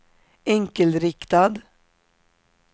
enkelriktad